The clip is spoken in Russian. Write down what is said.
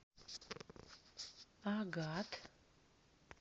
агат